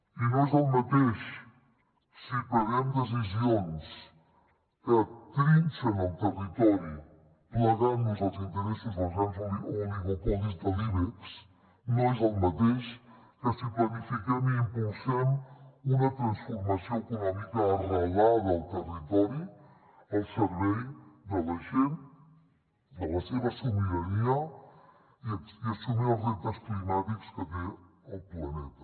i no és el mateix si prenem decisions que trinxen el territori plegant nos als interessos dels grans oligopolis de l’ibex no és el mateix que si planifiquem i impulsem una transformació econòmica arrelada al territori al servei de la gent de la seva sobirania i assumir els reptes climàtics que té el planeta